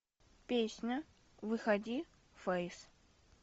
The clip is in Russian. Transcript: песня выходи фейс